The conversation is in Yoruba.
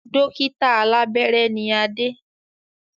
Dókítà alàbẹ́rẹ́ ni Adé